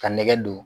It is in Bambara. Ka nɛgɛ don